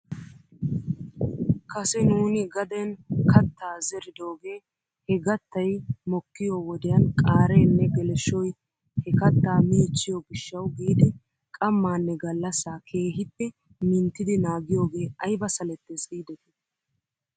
Kase nuuni gaden kattaa zeridoogee he gattay mokkiyoo wodiyan qaareenne geleshshoy he kattaa miichchiyoo gishshaw giidi qammaanne gallasaa keehippe minttidi naagiyoogee ayba salettes giidetii?